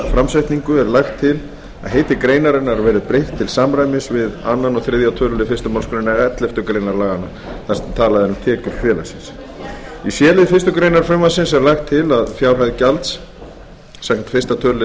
er lagt til að heiti greinarinnar verði breytt til samræmis við aðra og þriðja tölulið fyrstu málsgrein elleftu grein laganna þar sem talað er um tekjur félagsins í c lið fyrstu grein frumvarpsins er lagt til að fjárhæð gjalds samkvæmt fyrsta tölulið